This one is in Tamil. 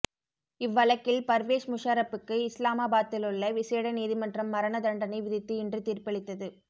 இவ்வழக்கில் பர்வேஸ் முஷாரப்புக்கு இஸ்லாமாபாத்திலுள்ள விசேட நீதிமன்றம் மரண தண்டனை விதித்து இன்று தீர்ப்பளித்தது